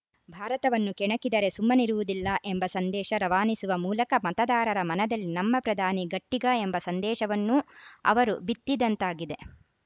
ಭಾರತವನ್ನು ಕೆಣಕಿದರೆ ಸುಮ್ಮನಿರುವುದಿಲ್ಲ ಎಂಬ ಸಂದೇಶ ರವಾನಿಸುವ ಮೂಲಕ ಮತದಾರರ ಮನದಲ್ಲಿ ನಮ್ಮ ಪ್ರಧಾನಿ ಗಟ್ಟಿಗ ಎಂಬ ಸಂದೇಶವನ್ನೂ ಅವರು ಬಿತ್ತಿದಂತಾಗಿದೆ